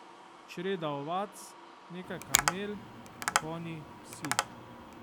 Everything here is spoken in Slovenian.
Čreda ovac, nekaj kamel, konji, psi.